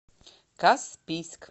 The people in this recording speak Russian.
каспийск